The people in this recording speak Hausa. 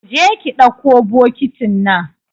Kije ki dakko bokitin nan